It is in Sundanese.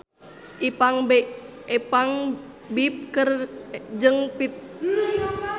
Ipank BIP jeung Pierre Coffin keur dipoto ku wartawan